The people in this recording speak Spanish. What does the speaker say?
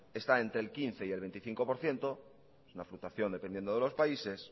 está entre el quince por ciento y veinticinco por ciento dependiendo de los países